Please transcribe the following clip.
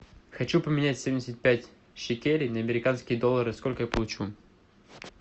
хочу поменять семьдесят пять шекелей на американские доллары сколько я получу